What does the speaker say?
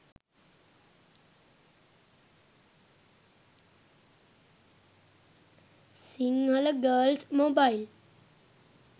sinhala girls mobile